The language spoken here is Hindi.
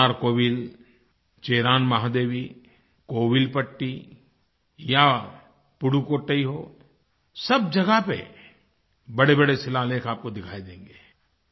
मनारकोविल चिरान महादेवी कोविलपट्टी या पुदुकोट्टई पुदुकोट्टई हो सब जगह पर बड़ेबड़े शिलालेख आपको दिखाई देंगे